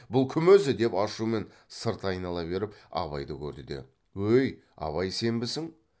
бұл кім өзі деп ашумен сырт айнала беріп абайды көрді де өй абай сенбісің